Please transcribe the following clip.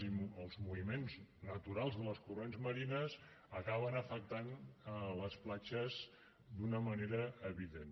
i els moviments naturals dels corrents marins acaben afectant les platges d’una manera evident